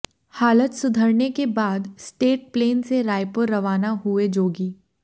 हालत सुधरने के बाद स्टेट प्लेन से रायपुर रवाना हुए जोगी